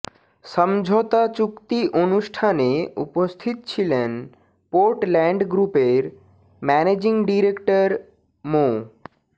সমঝোতা চুক্তি অনুষ্ঠানে উপস্থিত ছিলেন পোর্ট ল্যান্ড গ্রুপের ম্যানেজিং ডিরেক্টর মো